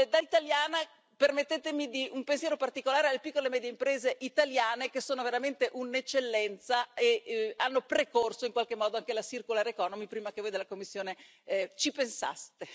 Da italiana, permettetemi un pensiero particolare alle piccole e medie imprese italiane, che sono veramente un'eccellenza e che hanno precorso in qualche modo anche l'economia circolare prima che voi della Commissione ci pensaste.